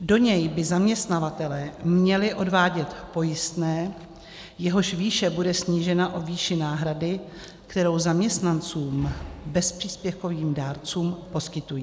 Do něj by zaměstnavatelé měli odvádět pojistné, jehož výše bude snížena o výši náhrady, kterou zaměstnancům - bezpříspěvkovým dárcům poskytují.